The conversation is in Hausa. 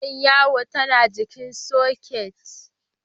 Igiyar yawon tAna jikin soket